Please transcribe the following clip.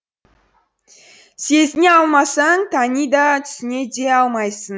сезіне алмасаң тани да түсіне де алмайсың